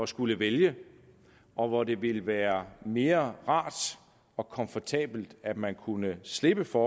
skulle vælge og hvor det ville være mere rart og komfortabelt at man kunne slippe for